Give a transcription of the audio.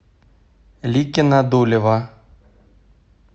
ликино дулево